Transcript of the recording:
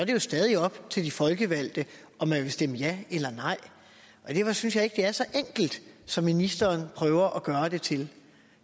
jo stadig op til de folkevalgte om de vil stemme ja eller nej jeg synes ikke det er så enkelt som ministeren prøver at gøre det til